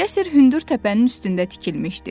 Qəsr hündür təpənin üstündə tikilmişdi.